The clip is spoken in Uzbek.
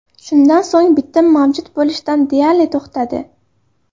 Shundan so‘ng bitim mavjud bo‘lishdan deyarli to‘xtadi.